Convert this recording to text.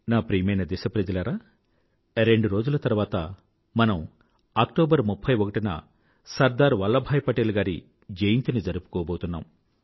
నా ప్రియమైన దేశప్రజలారా రెండు రోజుల తరువాత మనం అక్టోబర్ 31న సర్దార్ వల్లభాయ్ పటేల్ గారి జయంతి జరుపుకోబోతున్నాం